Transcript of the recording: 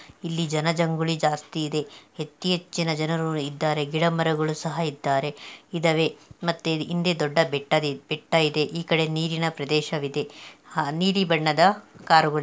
ಇಲ್ಲಿ ಜನ ಜಂಗುಲಿ ಜಾಸ್ತಿ ಇದೆ ಅತ್ತಿ ಹೆಚ್ಚು ಜನರು ಇದ್ದಾರೆ ಮತ್ತೆ ಗಿಡ ಮರಗಳು ಇದ್ದವೇ ಮತ್ತೆ ಹಿಂದೆ ದೊಡ್ಡ ಬೆಟ್ಟ ಇದೆ ನೀರಿನ ಪ್ರದೇಶ ಇದೆ ನೀಲಿ ಬಣ್ಣದೆ ಕಾರುಗಳಿವೆ .